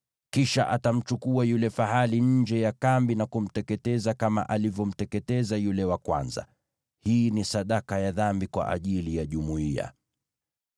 Kisha atamchukua yule fahali nje ya kambi na kumteketeza kama alivyomteketeza yule wa kwanza. Hii ni sadaka ya dhambi kwa ajili ya jumuiya.